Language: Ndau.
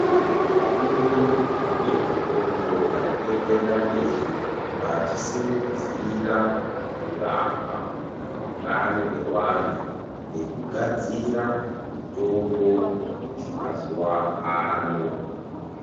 Vakuru vezvefundo vari kuenderera mberi vachisimudzira kurapwa kana utano hwevantu nekugadzira mitombo dzemazuwaano.